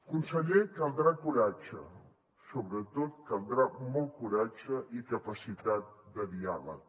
conseller caldrà coratge sobretot caldrà molt coratge i capacitat de diàleg